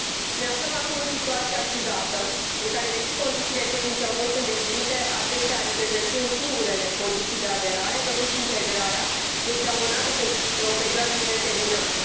Ne aflăm acum în situația ciudată în care, deși condițiile tehnice au fost îndeplinite, acestea reprezentând singurele condiții de aderare, integrarea este totuși amânată pe o perioadă nedeterminată.